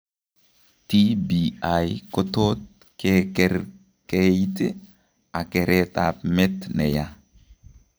TBI kotot kekerkeeit ak kereet ab met neyaa